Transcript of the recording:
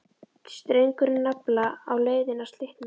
Strengurinn nafla á leiðinni að slitna.